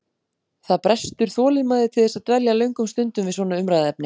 Það brestur þolinmæði til þess að dvelja löngum stundum við sama umræðuefni.